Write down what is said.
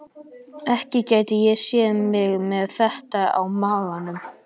Ekki gæti ég séð mig með þetta á maganum.